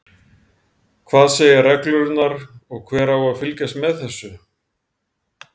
Hvað segja reglurnar og hver á að fylgjast með þessu?